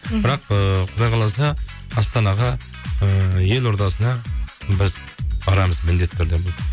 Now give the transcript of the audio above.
мхм бірақ ыыы құдай қаласа астанаға ыыы елордасына біз барамыз міндетті түрде